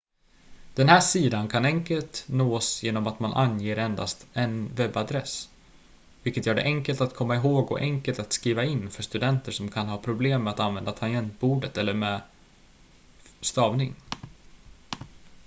den här sidan kan enkelt nås genom att man anger endast en webbadress vilket gör det enkelt att komma ihåg och enkelt att skriva in för studenter som kan ha problem med att använda tangentbordet eller med stavning